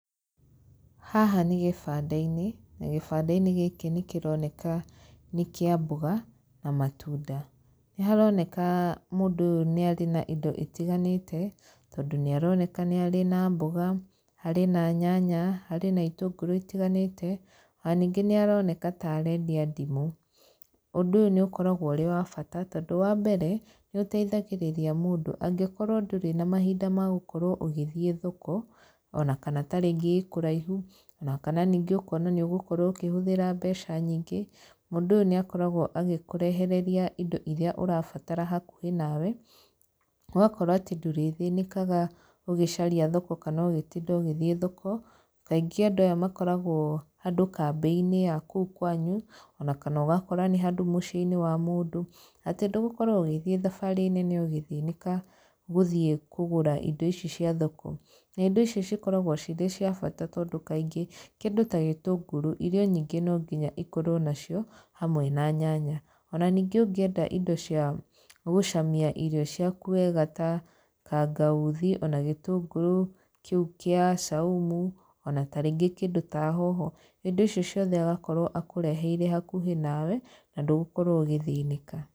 Haha nĩ gĩbanda-inĩ, na gĩbanda-inĩ gĩkĩ nĩ kĩroneka nĩ kĩa mboga, na matunda. Nĩ haroneka mũndũ ũyũ nĩ arĩ na indo itiganĩte, tondũ nĩ aroneka nĩ arĩ na mboga, harĩ na nyanya, harĩ na itũngũrũ itiganĩte. Ona ningĩ nĩ aroneka ta arendia ndimũ. Ũndũ ũyũ nĩ ũkoragwo ũrĩ wa bata, tondũ wa mbere, nĩ ũteithagĩrĩria mũndũ, angĩkorwo ndũrĩ na mahinda ma gũkorwo ũgĩthiĩ thoko, ona kana tarĩngĩ ĩĩ kũraihu, ona kana ningĩ ũkona nĩ ũgũkorwo ũkĩhũthĩra mbeca nyingĩ, mũndũ ũyũ nĩ akoragwo agĩkũrehereria indo irĩa ũrabatara hakuhĩ nawe, ũgakora atĩ ndũrĩthĩnĩkaga ũgĩcaria thoko kana ũgĩtinda ũgĩthiĩ thoko. Kaingĩ aya makoragwo handũ kambĩ-inĩ ya kũu kwanyu, ona kana ũgakora nĩ handũ mũciĩ-inĩ wa mũndũ. Ati ndũgũkorwo ũgĩthiĩ thabarĩ nene ũgĩthĩnĩka gũthiĩ kũgũra indo ici cia thoko. Na indo ici cikoragwo cirĩ cia bata tondũ kaingĩ, kĩndũ ta gĩtĩngũrũ, irio nyingĩ no nginya ikorwo nacio hamwe na nyanya. Ona ningĩ ũngĩenda indo cia gũcamia irio ciaku wega ta kangauthi, ona gĩtĩngũrũ kĩu kĩa saumu, ona tarĩngĩ kĩndũ ta hoho. Indo icio ciothe agakorwo akũreheire hakuhĩ nawe, na ndũgũkorwo ũgĩthĩnĩka.